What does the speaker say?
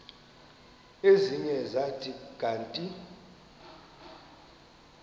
ezinye zathi kanti